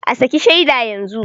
A saki shaida yanzu